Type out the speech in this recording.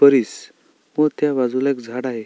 परिस व त्या बाजूला एक झाड आहे.